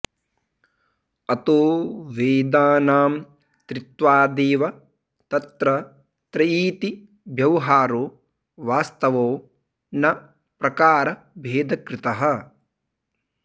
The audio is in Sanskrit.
अतो वेदानां त्रित्वादेव तत्र त्रयीति व्यवहारो वास्तवो न प्रकारभेदकृतः